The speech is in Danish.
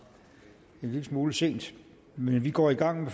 en lille smule sent men vi går i gang